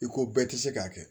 I ko bɛɛ ti se k'a kɛ